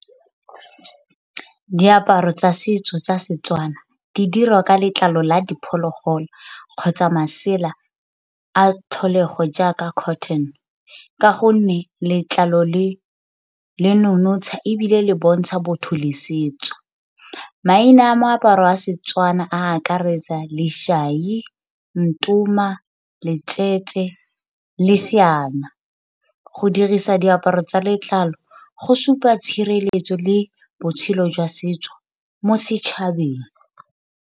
Diaparo tsa setso tsa Setswana di dirwa ka letlalo la diphologolo kgotsa masela a tlholego jaaka cotton, ka gonne letlalo le le nonotsha ebile le bontsha botho le setso. Maina a meaparo a Setswana a akaretsa go dirisa diaparo tsa letlalo go supa tshireletso le botshelo jwa setso mo setšhabeng.